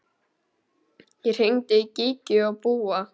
Ég hringdi í Gígju og Búa.